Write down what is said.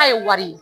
K'a ye wari ye